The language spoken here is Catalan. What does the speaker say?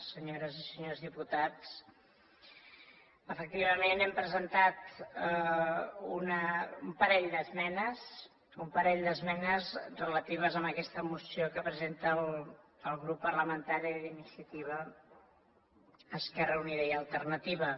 senyores i senyors diputats efectivament hem presentat un parell d’esmenes un parell d’esmenes relatives a aquesta moció que presenta el grup parlamentari d’iniciativa esquerra unida i alternativa